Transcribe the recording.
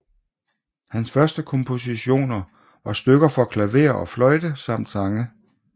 Hans første kompositioner var stykker for klaver og fløjte samt sange